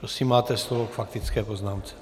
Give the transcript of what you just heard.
Prosím, máte slovo k faktické poznámce.